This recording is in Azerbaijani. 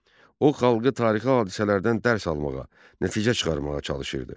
O xalqı tarixi hadisələrdən dərs almağa, nəticə çıxarmağa çalışırdı.